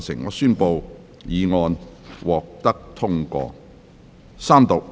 我宣布議案獲得通過。